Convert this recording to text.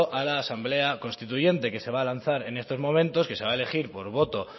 a la asamblea constituyente que se va a lanzar en estos momentos que se va a elegir por voto